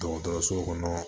Dɔgɔtɔrɔso kɔnɔ